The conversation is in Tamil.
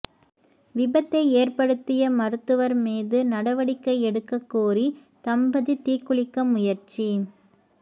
விபத்தை ஏற்படுத்திய மருத்துவா் மீதுநடவடிக்கை எடுக்கக் கோரி தம்பதி தீக்குளிக்க முயற்சி